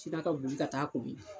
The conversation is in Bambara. Sina ka boli ka taa